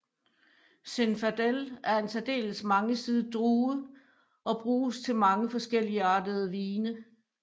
Zinfandel er en særdeles mangesidet drue og bruges til mange forskelligartede vine